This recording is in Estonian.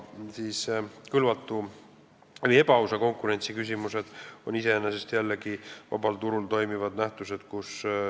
Aga kõlvatu või ebaausa konkurentsi küsimused on iseenesest jällegi vabal turul toimivad nähtused.